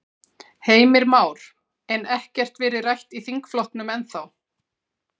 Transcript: Heimir Már: En ekkert verið rætt í þingflokknum ennþá?